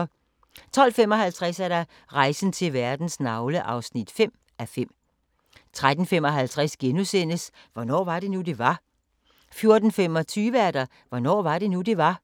12:55: Rejsen til verdens navle (5:5) 13:55: Hvornår var det nu, det var? * 14:25: Hvornår var det nu, det var?